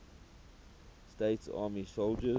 states army soldiers